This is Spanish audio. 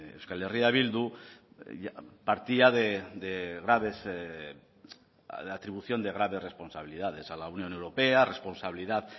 euskal herria bildu partía de graves atribución de graves responsabilidades a la unión europea responsabilidad